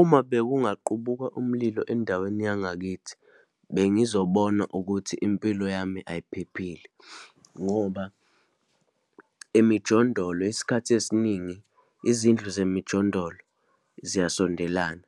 Uma bekungaqubuka umlilo endaweni yangakithi, bengizobona ukuthi impilo yami ayiphephile, ngoba emijondolo, isikhathi esiningi, izindlu zemijondolo ziyasondelana,